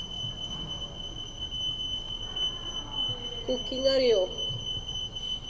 cooking അറിയോ?